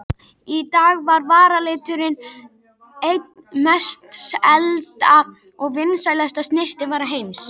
Í dag er varaliturinn ein mest selda og vinsælasta snyrtivara heims.